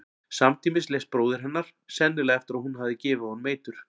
Samtímis lést bróðir hennar, sennilega eftir að hún hafði gefið honum eitur.